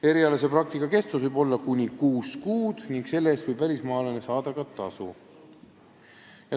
Erialase praktika kestus võib olla kuni kuus kuud ning selle eest võib välismaalane saada ka tasu.